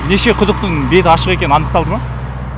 неше құдықтың беті ашық екен анықталды ма